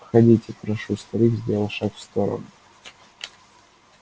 входите прошу старик сделал шаг в сторону